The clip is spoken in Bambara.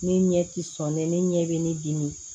Ne ɲɛ tɛ sɔn ne ɲɛ bɛ ne dimi